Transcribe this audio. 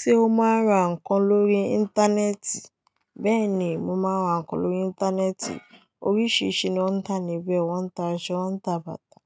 Ṣé o máa ń ra nkan lórí Íńtánẹ́ẹ̀tì? Beeni, mo maa n ra nkan lori interneti. Oríṣìíríṣìí ni wọ́n ń tà níbẹ̀ o. Wọ́n ń ta aṣọ, wọ́n ń ta bàtà,